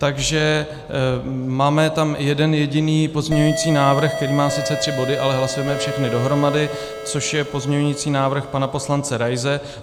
Takže máme tam jeden jediný pozměňující návrh, který má sice tři body, ale hlasujeme všechny dohromady, což je pozměňující návrh pana poslance Raise.